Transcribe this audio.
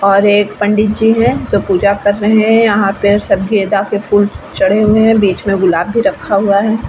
और पंडित जी है जो पूजा कर रहे है यहाँ पे सब फूल चढ़े हुए है बीच मे गुलाब भी रखे है ।